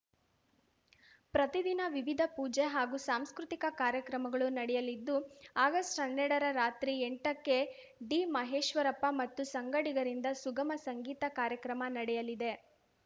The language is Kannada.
ಪ್ರತಿದಿನ ವಿವಿಧ ಪೂಜೆ ಹಾಗೂ ಸಾಂಸ್ಕೃತಿಕ ಕಾರ್ಯಕ್ರಮಗಳು ನಡೆಯಲಿದ್ದು ಆಗಸ್ಟ್ಹನ್ನೆರಡರ ರಾತ್ರಿ ಎಂಟಕ್ಕೆ ಡಿಮಹೇಶ್ವರಪ್ಪ ಮತ್ತು ಸಂಗಡಿಗರಿಂದ ಸುಗಮ ಸಂಗೀತ ಕಾರ್ಯಕ್ರಮ ನಡೆಯಲಿದೆ